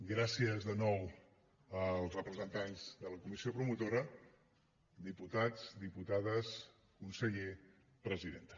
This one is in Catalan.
gràcies de nou als representants de la comissió promotora diputats diputades conseller presidenta